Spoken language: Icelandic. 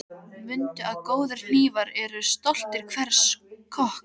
Mundu að góðir hnífar eru stolt hvers kokks.